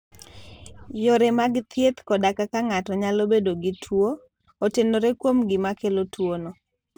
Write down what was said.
Yore mag thieth koda kaka ng'ato nyalo bedo gi tuwo, otenore kuom gima kelo tuwono.